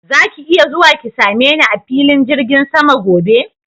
Zaki iya zuwa ki same ni a filin jirgin sama gobe?